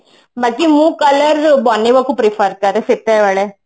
ବାକି ମୁଁ color ବନେଇବାକୁ prefer କରେ ସେତେବେଳେ